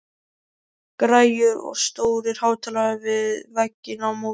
Græjur og stórir hátalarar við vegginn á móti.